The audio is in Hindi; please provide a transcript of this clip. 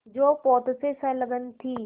जो पोत से संलग्न थी